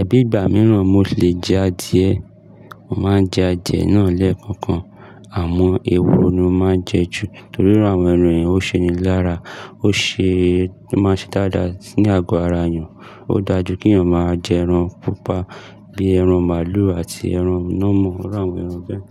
Ẹbí ìgbà mìíràn mo lè jẹ adìẹ. Mo máa ń jẹ adìẹ náà lẹ́ẹ̀kọ̀kan. Àmọ́ ehoro ni mo máa ń jẹ ju nítorí àwọn ẹran yẹn ó ṣe ni lára, ó ṣe, ó máa ń ṣe dáadáa sí ní àgọ́ ara èèyàn. Ó dáa ju kí èèyàn máa jẹ ẹran pupa bíi ẹran màlúù àti ẹran nà mọ, àwọn ẹran bẹ́ẹ̀.